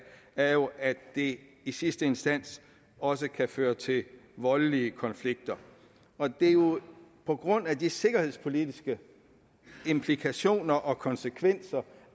er jo at det i sidste instans også kan føre til voldelige konflikter det er jo på grund af de sikkerhedspolitiske implikationer og konsekvenser